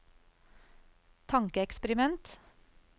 tankeeksperiment